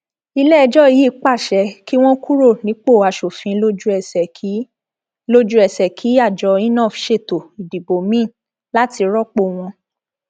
iléẹjọ yìí pàṣẹ kí wọn kúrò nípò asòfin lójúẹsẹ kí lójúẹsẹ kí àjọ inov ṣètò ìdìbò miín láti rọpò wọn